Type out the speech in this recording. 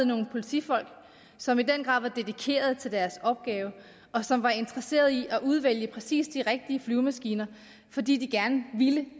nogle politifolk som i den grad var dedikerede til deres opgave og som var interesserede i at udvælge præcis de rigtige flyvemaskiner fordi de gerne ville